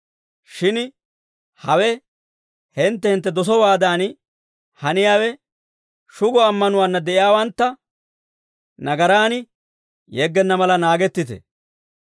Shin hawe hintte hintte dosowaadan haniyaawe shugo ammanuwaanna de'iyaawantta nagaraan yeggenna mala naagettite.